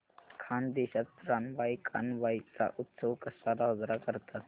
खानदेशात रानबाई कानबाई चा उत्सव कसा साजरा करतात